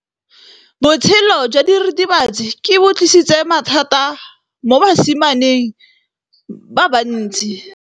Botshelo jwa diritibatsi ke bo tlisitse mathata mo basimaneng ba bantsi.